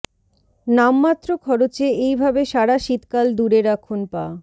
নামমাত্র খরচে এই ভাবে সারা শীতকাল দূরে রাখুন পা